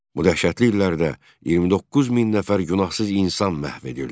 Bu dəhşətli illərdə 29 min nəfər günahsız insan məhv edildi.